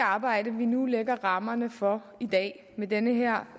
arbejde vi nu lægger rammerne for i dag med den her